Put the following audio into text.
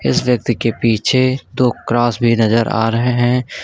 इस व्यक्ति के पीछे दो क्रॉस भी नजर आ रहे हैं।